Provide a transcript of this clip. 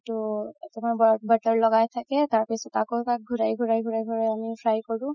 অ তুমাৰ butter লগাই থাকে তাৰপাছত আকৌ এবাৰ ঘুৰাই ঘুৰাই আমি fry কৰো